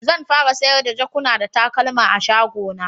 Zan fara sayar da jakuna da takalma a'shago na.